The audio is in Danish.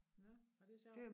Nåh og det sjovt